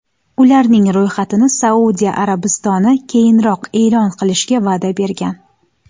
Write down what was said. Ularning ro‘yxatini Saudiya Arabistoni keyinroq e’lon qilishga va’da bergan.